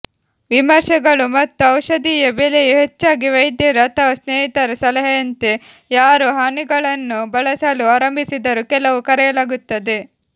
ವಿಮರ್ಶೆಗಳು ಮತ್ತು ಔಷಧಿಯ ಬೆಲೆಯು ಹೆಚ್ಚಾಗಿ ವೈದ್ಯರು ಅಥವಾ ಸ್ನೇಹಿತರ ಸಲಹೆಯಂತೆ ಯಾರು ಹನಿಗಳನ್ನು ಬಳಸಲು ಆರಂಭಿಸಿದರು ಕೆಲವು ಕರೆಯಲಾಗುತ್ತದೆ